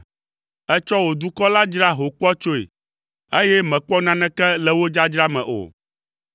Ètsɔ wò dukɔ la dzra ho kpɔtsɔe eye mèkpɔ naneke le wo dzadzra me o.